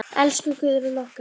Elsku Guðrún okkar.